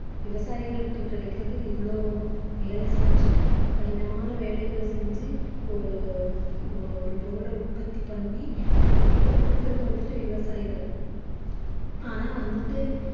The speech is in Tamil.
விவசாயிகளுக்கு கிடைக்கிறது இவ்வளவு வேலை செஞ்சு கடினமான வேலைகள் செஞ்சு ஒரு ஒரு பொருளை உற்பத்தி பண்ணி நம்மகிட்ட கொடுக்கிறது வந்துட்டு விவசாயிகள் ஆனா வந்துட்டு